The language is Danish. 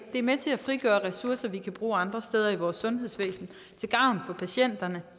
er med til at frigøre ressourcer vi kan bruge andre steder i vores sundhedsvæsen til gavn for patienterne